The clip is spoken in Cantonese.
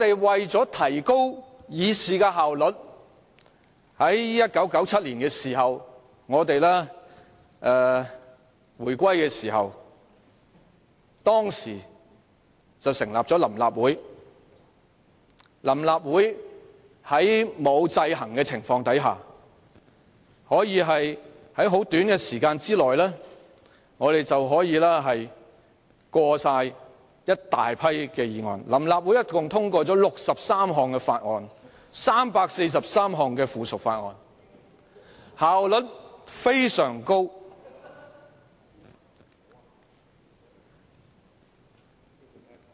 為提高議事效率，臨時立法會在1997年回歸時成立，並在沒有制衡的情況下在短時間內通過多項議案，又通過了63項法案、343項附屬法例，效率非常高。